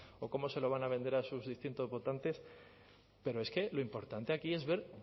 o cómo se lo van a vender sus distintos votantes pero es que lo importante aquí es ver